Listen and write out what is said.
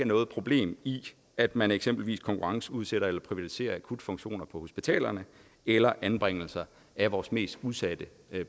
noget problem i at man eksempelvis konkurrenceudsætter eller privatiserer akutfunktioner på hospitalerne eller anbringelser af vores mest udsatte